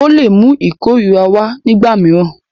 Ó lè mú ìkórìíra wá nígbà mìíràn.